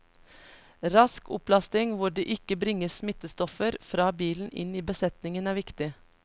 Rask opplasting hvor det ikke bringes smittestoffer fra bilen inn i besetningen er viktig.